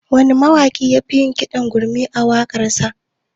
Wane mawaƙi ne yake yin kiɗa da gurmi a waƙarsa?